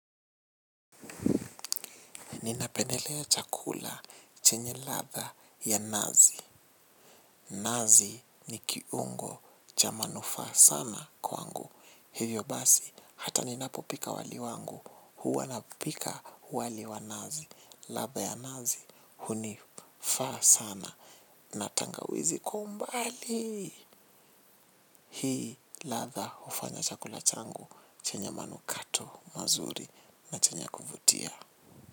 Ninapendelea chakula chenye ladha ya nazi. Nazi ni kiungo cha manufaa sana kwangu. Hivyo basi hata ninapopika wali wangu. Huwa napika wali wa nazi. Ladha ya nazi hunifaa sana. Na tangawizi kwa umbali. Hii ladha hufanya chakula changu chenye manukato mazuri na chenye kuvutia.